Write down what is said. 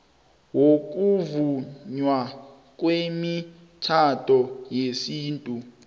wokuvunywa kwemitjhado yesintu